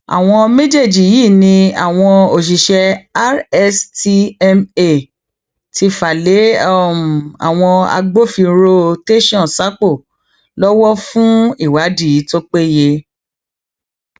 àwọn méjèèjì yìí ni àwọn òṣìṣẹ rstma ti fà lé àwọn agbófinró tẹsán sápó lọwọ fún ìwádìí tó péye